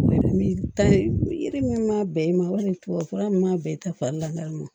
Yiri min m'a bɛn i ma walima tubabufura min m'a bɛn i ta fari la